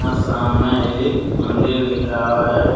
सामने एक मंदिर दिख रहा है।